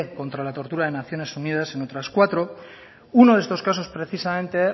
contra la tortura de naciones unidas en otras cuatro uno de estos caso precisamente